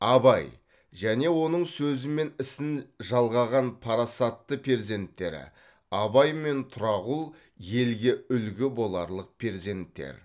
абай және оның сөзі мен ісін жалғаған парасатты перзенттері абай мен тұрағұл елге үлгі боларлық перзенттер